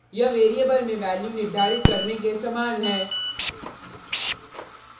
यह वेरिएबल में वैल्यू निर्धारित करने के समान है